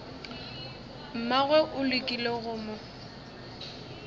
mmagwe o lekile go mo